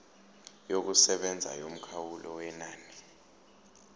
yokusebenza yomkhawulo wenani